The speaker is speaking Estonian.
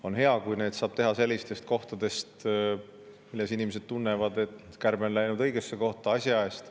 On hea, kui neid saab teha sellistes kohtades, mille puhul inimesed tunnevad, et kärbe on läinud õigesse kohta, asja eest.